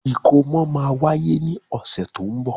Ìkómọ máa wáyé ní ọ̀sẹ̀ to ń bọ̀.